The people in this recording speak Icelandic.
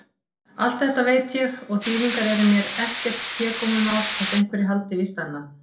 Allt þetta veit ég- og þýðingar eru mér ekkert hégómamál, þótt einhverjir haldi víst annað.